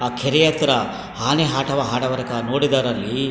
ಆ ಕೆರೆ ಹತ್ರ ಆನೆ ಆಟವಾ ಆಡವರಿಕ ನೋಡಿದರಲ್ಲಿ --